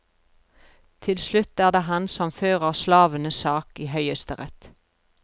Til slutt er det han som fører slavenes sak i høyesterett.